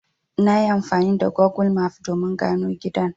Nayi amfani da Gogul maf domin gano gidan.